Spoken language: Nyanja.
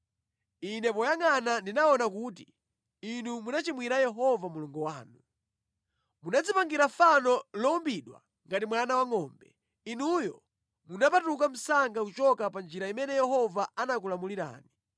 Ine poyangʼana ndinaona kuti inu munachimwira Yehova Mulungu wanu. Munadzipangira fano lowumbidwa ngati mwana wangʼombe. Inuyo munapatuka msanga kuchoka pa njira imene Yehova anakulamulirani.